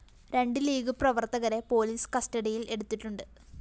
രണ്ട് ലീഗ്‌ പ്രവര്‍ത്തകരെ പൊലീസ് കസ്റ്റഡിയില്‍ എടുത്തിട്ടുണ്ട്